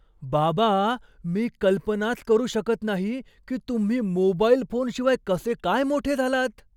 बाबा, मी कल्पनाच करू शकत नाही की तुम्ही मोबाईल फोनशिवाय कसे काय मोठे झालात?